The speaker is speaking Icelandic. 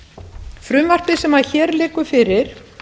frumvarpið sem hér liggur fyrir